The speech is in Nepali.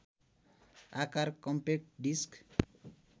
आकार कम्पेक्ट डिस्क